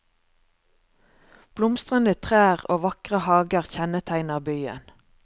Blomstrende trær og vakre hager kjennetegner byen.